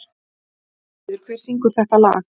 Eyfríður, hver syngur þetta lag?